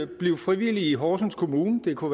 bliv frivillig i horsens kommune det kunne